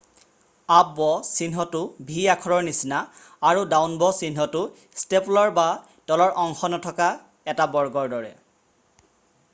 """Up bow'" চিহ্নটো v আখৰৰ নিচিনা আৰু "ডাউন ব'" চিহ্নটো ষ্টেপলাৰ বা তলৰ অংশ নথকা এটা বৰ্গৰ দৰে।""